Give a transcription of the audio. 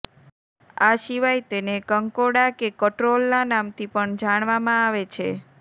આ સિવાય તેને કંકોડા કે કટ્રોલના નામથી પણ જાણવામાં આવે છે